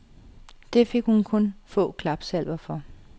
Det fik hun kun få klapsalver for.